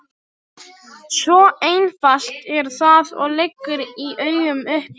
Svo einfalt er það og liggur í augum uppi.